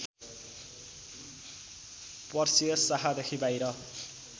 Perseus शाखादेखि बाहिर